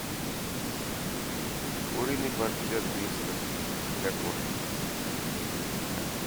куриный паштет вискас для кошек